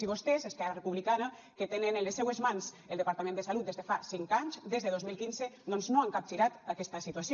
i vostès esquerra republicana que tenen en les seues mans el departament de salut des de fa cinc anys des de dos mil quinze doncs no han capgirat aquesta situació